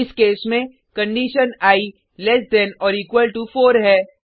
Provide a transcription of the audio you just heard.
इस केस में condition i less than or equal to 4 है